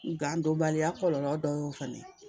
Gan donbaliya kɔlɔlɔ dɔ y'o fana ye